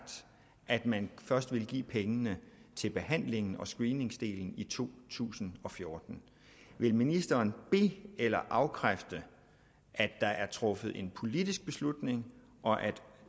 at man først vil give pengene til behandlingen og screeningsdelen i to tusind og fjorten vil ministeren be eller afkræfte at der er truffet en politisk beslutning og at